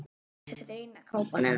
Þetta er eina kápan hennar.